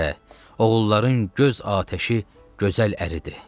Oğulların göz atəşi gözəl əridir.